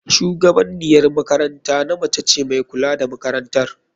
Shugabaniyan makaranta namce ne mai kula da makarantar.